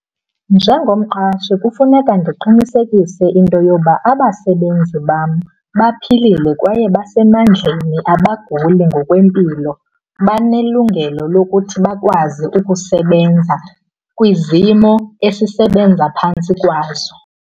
Njengomqashi kufuneka ndiqinisekise into yoba abasebenzi bam baphilile kwaye basemandleni, abaguli ngokwempilo. Banelungelo lokuthi bakwazi ukusebenza kwizimo esisebenza phantsi kwazo.